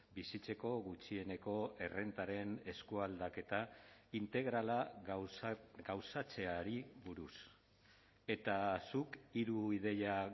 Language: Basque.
bizitzeko gutxieneko errentaren eskualdaketa integrala gauzatzeari buruz eta zuk hiru ideia